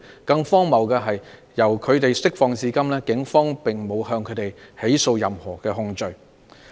更荒謬的是，由他們獲釋放至今，警方並沒有以任何控罪起訴他們。